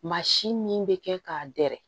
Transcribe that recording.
Maa si min bɛ kɛ k'a dɛrɛ